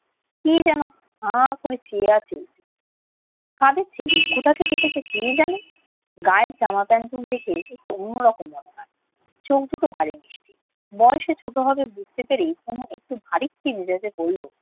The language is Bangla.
কি যেন হা করে চেয়ে আছে কাদের ছেলে? কোথা থেকে এসেছে কে জানে। গায়ে জামা প্যান্টুন দেখে একটু অন্যরকম মনে হয়। চোখ দুটোও ভারী মিষ্টি। বয়স ছোট হবে বুঝতে পেরেই তনু একটু ভারিক্কি মেজাজে বলল,